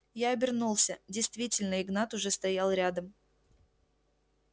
я обернулся действительно игнат уже стоял рядом